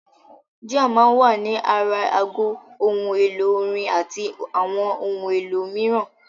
Jíà máa ń wà ní ara aago, ohun èlò-orin àti àwọn ohun èlò mìíràn.